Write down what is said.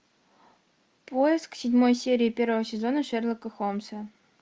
поиск седьмой серии первого сезона шерлока холмса